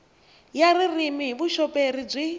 ya ririmi hi vuxoperi byi